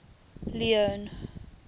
leone